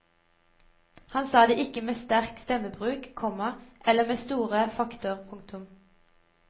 Han sa det ikke med sterk stemmebruk, komma eller med store fakter. punktum